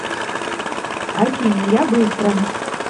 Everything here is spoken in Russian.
афина я быстро